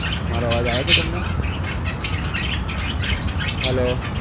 મારો અવાજ આવે છે તમને? hello